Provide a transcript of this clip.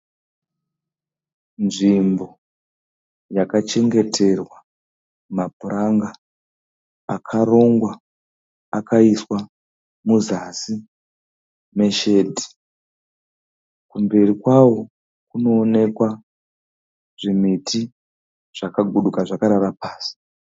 Nzvimbo yakachengeterwa mapuranga akarongwa akaiswa muzasi meshedhi. Kumberi kwawo kunoonekwa zvimiti zvakaguduka zvakarara pasi.